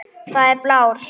Það er blár.